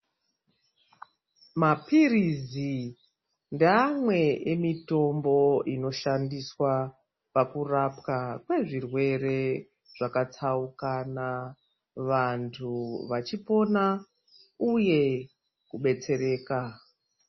Mapirizi ndeamwe emitombo inoshandiswa pakurapwa kwezvirwere zvakatsaukana, vantu vachipona uye kubetsereka.